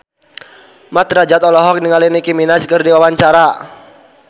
Mat Drajat olohok ningali Nicky Minaj keur diwawancara